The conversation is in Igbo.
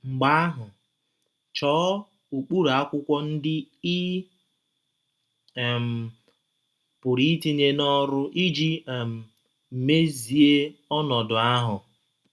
Mgbe ahụ, chọọ ụkpụrụ akwụkwọ ndị ị um pụrụ itinye n’ọrụ iji um mezie ọnọdụ ahụ.